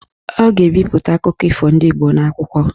Ọ ga-ebipụta akụkọ ifo ndị Igbo n'akwụkwọ.